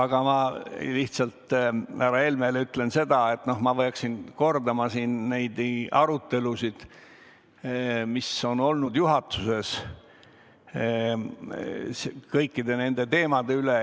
Aga ma härra Helmele ütlen seda, et ma peaksin teile tutvustama neid arutelusid, mis on olnud juhatuses kõikide nende teemade üle.